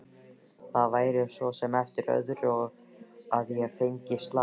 Það væri svo sem eftir öðru að ég fengi slag.